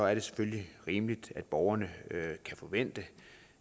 er det selvfølgelig rimeligt at borgerne kan forvente